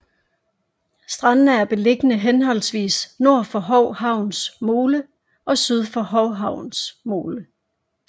Strandene er beliggende henholdsvis nord for Hou Havns mole og syd for Hou Havns mole